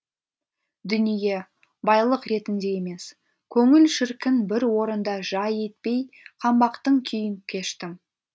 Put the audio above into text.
дүние байлық ретінде емес көңіл шіркін бір орында жай етпей қаңбақтың күйін кештім